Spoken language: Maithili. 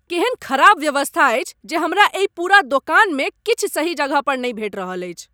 केहन खराब व्यवस्था अछि जे हमरा एहि पूरा दोकानमे किछु सही जगहपर नहि भेट रहल अछि।